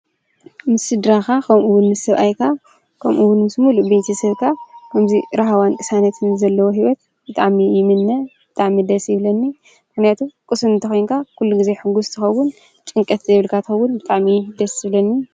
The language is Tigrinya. ምስድራኻ ኸምኡውን ምስብኣይካ ከምኡውን ምስሙሉ ቤቲ ሰድካ እምዙይ ራሃዋን ክሳነትን ዘለዎ ሕይወት ብጣሚ ይምነ ብጣምደስ ይብለኒ ኣሕነያቱ ቕስም እተ ኾንካ ኲሉ ጊዜ ሕጕሥትኸውን ጭንቀትቲ የብልካቶውን ብጣሚ ደስ እብለኒ።